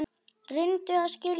Reyndu að skilja það!